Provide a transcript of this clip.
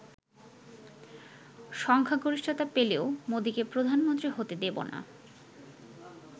সংখ্যাগরিষ্ঠতা পেলেও মোদিকে প্রধানমন্ত্রী হতে দেব না।